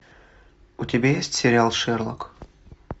у тебя есть сериал шерлок